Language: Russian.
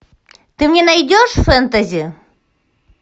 ты мне найдешь фэнтези